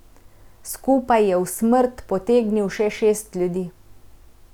Skupaj je v smrt potegnil še šest ljudi.